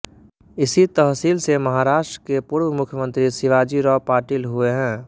इसी तहसील से महाराष्ट्र के पूर्व मुख्यमंत्री शिवाजीराव पाटील हुए हैं